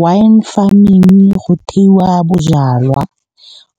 Wine farming go theiwa bojalwa